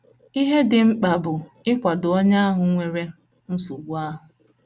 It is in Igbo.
Ihe dị mkpa bụ ịkwado onye ahụ nwere nsogbu ahụ.